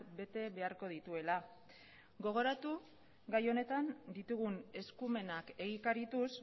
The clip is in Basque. bete beharko dituela gogoratu gai honetan ditugun eskumenak egikarituz